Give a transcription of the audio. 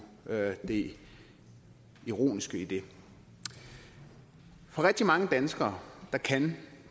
det ironiske i det for rigtig mange danskere kan